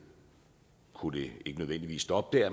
skulle det ikke nødvendigvis stoppe